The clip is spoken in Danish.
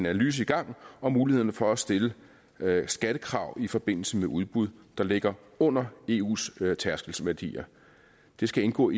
analyse i gang om mulighederne for at stille skattekrav i forbindelse med udbud der ligger under eus tærskelværdier det skal indgå